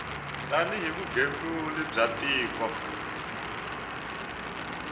tani hi vugembuli bya tiko